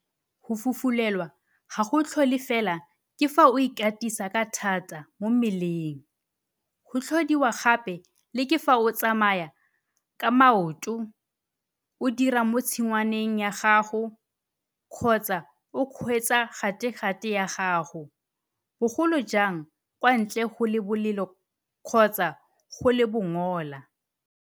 Go fufulelwa ga go tlhole fela ke fa o ikatisa ka thata mo mmeleng, go tlhodiwa gape le ke fa o tsamaya ka maoto, o dira mo tshingwaneng ya gago kgotsa o kgweetsa gategate ya gago, bogolo jang fa kwa ntle go le bolelo kgotsa go le bongola.